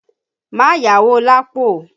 Má yáwó Lapo!